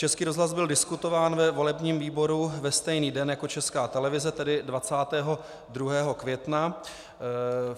Český rozhlas byl diskutován ve volebním výboru ve stejný den jako Česká televize, tedy 22. května.